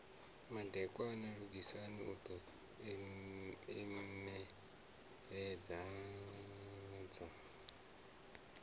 madekwana lugisani u ḓo inembeledza